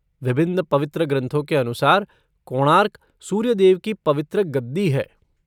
विभिन्न पवित्र ग्रंथों के अनुसार, कोणार्क, सूर्यदेव की पवित्र गद्दी है।